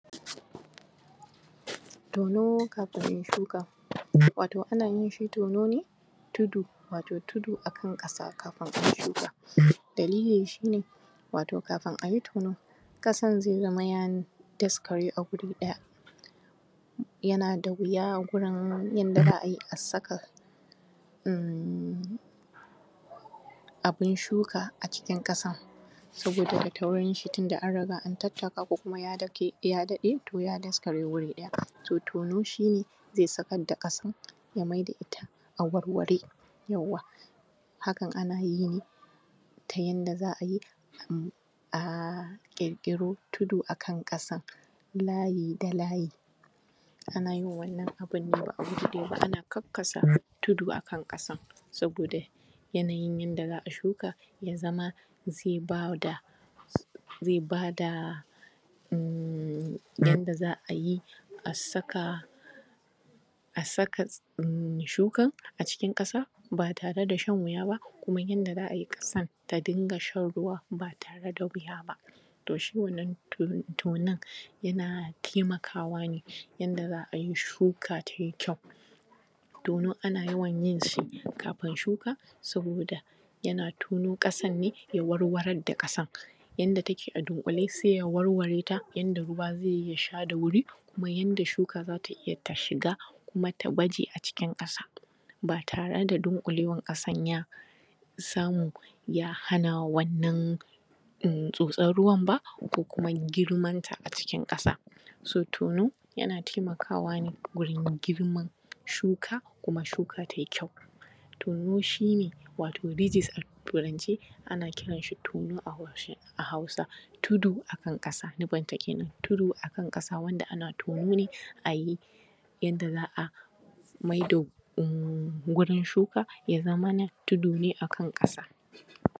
Tono kafin ai shuka wato ana yin shi tono ne tudu wato tudu akan ƙasa kafin ai shuka. Dalili shine wato kan ayi tono ƙasan zai zama ya daskere a guri ɗaya yana da wuya gurin yanda za’ayi a saka uhm abin shuka a cikin ƙasa saboda da taurinshi tunda an riga an tattaka kuma ya daɗe ya daskare gurin, to tono shine ke sakar da ƙasan ya maida ita a warware. Yawwa hakan ana iyayi ta yanda za’ayi a ƙirƙiro tudu akan ƙasan layi da layi ana yin wannan abune ana kakkasa tudu a kan ƙasa, saboda yanayin yanda za’a shuka ya zama zai bada uhm yadda za a yi a saka a saka uhm shukan a cikin ƙasa ba tare da shan wuya ba kuma yanda za a yi ƙasan ta rinƙa shan ruwa ba tare da shan wuya ba. Toh shi wannan tonon yana taimakawa ne yanda za ayi shuka ta yi kyau. Tono ana yawan yinshi ka fin shuka saboda yana tono ƙasan ne ya warwarar da ƙasan yanda take a dunƙule sai ya warwareta yanda ruwa zai sha da wuri kuma yanda shuka za ta iya ta shiga kuma ta baje a cikin ƙasa ba tare da dunƙulewan ƙasan ya samu ya hana wannan uhm tsotson ruwan ba ko kuma girmanta a cikin ƙasa. So tono yana taimakawa ne wurin girman shuka kuma shuka tai kyau, tono shine wato bizis a turance ana kiranshi tono a harshen hausa, tudu akan ƙasa nufinta kenan tudu akan ƙasa wanda ana tono ne ayi yanda za a maida wurin shuka ya zamana tudu ne akan ƙasa.